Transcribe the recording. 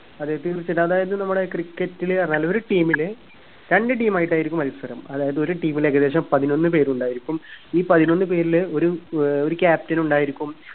അതായത് നമ്മുടെ cricket ലെ അല്ല ഒരു team ലെ രണ്ടു team ആയിട്ടായിരിക്കും മത്സരം അതായത് ഒരു team ൽ ഏകദേശം പതിനൊന്നു പേരുണ്ടായിരിക്കും ഈ പതിനൊന്നു പേരില് ഒരു ഏർ ഒരു captain ഉണ്ടായിരിക്കും